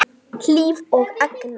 Hlíf og Agnar.